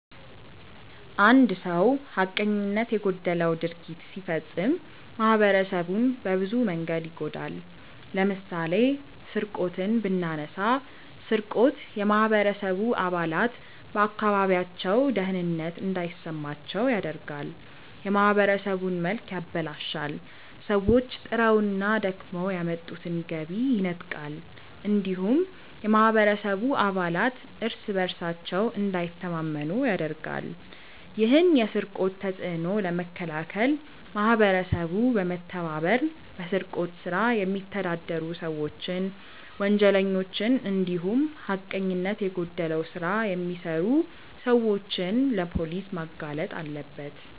አንድ ሰው ሀቀኝነት የጎደለው ድርጊት ሲፈጽም ማህበረሰቡን በብዙ መንገድ ይጎዳል። ለምሳሌ ስርቆትን ብናነሳ ስርቆት የማህበረሰቡ አባላት በአካባቢያቸው ደህንነት እንዳይሰማቸው ያደርጋል፣ የማህበረሰቡን መልክ ያበላሻል፣ ሰዎች ጥረውና ደክመው ያመጡትን ገቢ ይነጥቃል እንዲሁም የማህበረሰቡ አባላት እርስ በእርሳቸው እንዳይተማመኑ ያደርጋል። ይህን የስርቆት ተጽዕኖ ለመከላከል ማህበረሰቡ በመተባበር በስርቆት ስራ የሚተዳደሩ ሰዎችን፣ ወንጀለኞችን እንዲሁም ሀቀኝነት የጎደለው ስራ የሚሰሩ ሰዎችን ለፖሊስ ማጋለጥ አለበት።